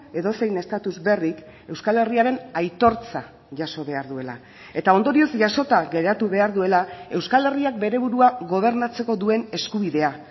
edozein estatus berrik euskal herriaren aitortza jaso behar duela eta ondorioz jasota geratu behar duela euskal herriak bere burua gobernatzeko duen eskubidea